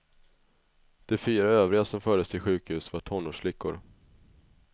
De fyra övriga som fördes till sjukhus var tonårsflickor.